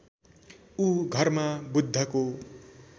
ऊ घरमा बुद्धको